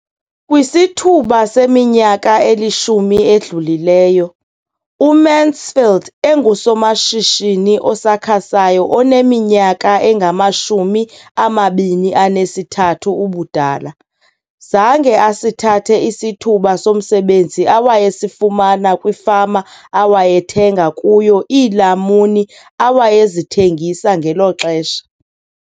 Kwisithuba seminyaka elishumi edlulileyo, uMansfield engusomashishini osakhasayo oneminyaka engama-23 ubudala, zange asithathe isithuba somsebenzi awayesifumana kwifama awayethenga kuyo iilamuni awayezithengisa ngelo xesha.